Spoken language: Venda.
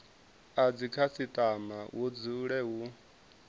a dzikhasitama hu dzule hu